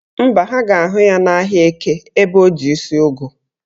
Mba, ha ga-ahụ ya n'ahịa Eke ebe o ji isi ugu